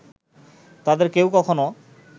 তাদের কেউ কখনো